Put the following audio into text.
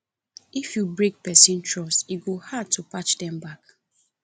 if you break person trust e go hard to patch am back